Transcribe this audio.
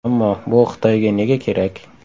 Ammo bu Xitoyga nega kerak?